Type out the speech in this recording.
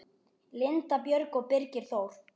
Linda Björg og Birgir Þór.